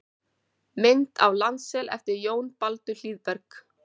Mynd af landsel eftir Jón Baldur Hlíðberg.